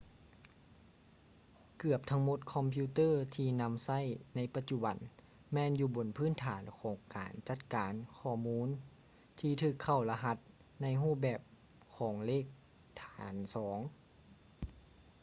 ເກືອບທັງໝົດຄອມພິວເຕີທີ່ນຳໃຊ້ໃນປະຈຸບັນແມ່ນຢູ່ບົນພື້ນຖານຂອງການຈັດການຂໍ້ມູນທີ່ຖືກເຂົ້າລະຫັດໃນຮູບແບບຂອງເລກຖານສອງ